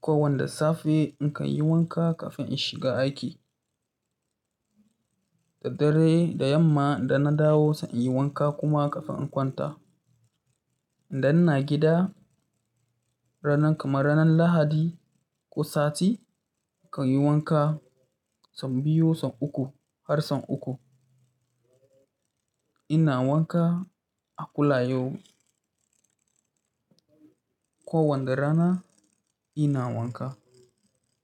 Kowanda safe in kan yi wanka kafin in shiga aiki. Da dare, da yamma da na dawo sai in yi wanka kuma kafin in kwanta. Idan ina gida, ranan kamar ranan Lahadi ko sati, in kan yi wanka sau biyu, sau uku har sau uku. Ina wanka a kulayo. Kowanda rana ina wanka.